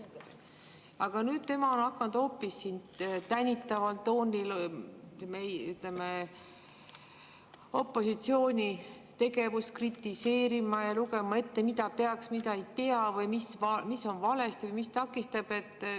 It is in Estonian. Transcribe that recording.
Aga nüüd tema on hakanud hoopis siin tänitaval toonil opositsiooni tegevust kritiseerima ja lugema ette, mida peaks, mida ei pea või mis on valesti ja mis takistab.